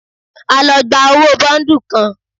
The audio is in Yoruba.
A lọ gba owó bọ́ńdù kan.